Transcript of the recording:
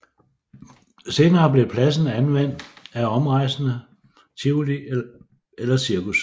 Senere blev pladsen anvendt af omrejsende tivoli eller cirkus